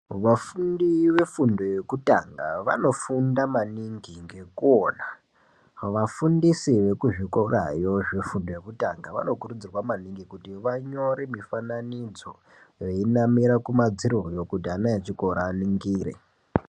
Vafundi vefundo yekutanga vanofunda maningi ngekuona, vafundisi vekuzvikorayo, zvefundo yekutanga vanokurudzirwa maningi, kuti vanyore mifananidzo veinamira kumadziroyo, kuti ana echikora aningire.